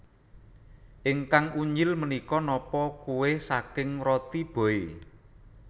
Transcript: Ingkang unyil menika nopo kueh saking Roti Boy